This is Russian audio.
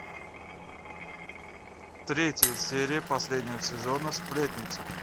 третья серия последнего сезона сплетница